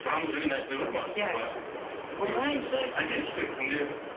сұранып жүрген әншілер бар ма иә бар көп айтайықшы кімдер